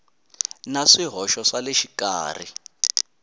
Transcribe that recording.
na swihoxo swa le xikarhi